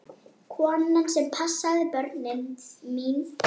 Konan sem passaði börnin mín.